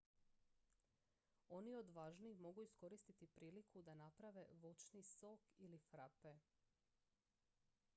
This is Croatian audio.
oni odvažniji mogu iskoristiti priliku da naprave voćni sok ili frape